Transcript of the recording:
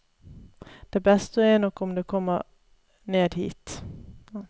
Det beste er nok om du kommer ned hit.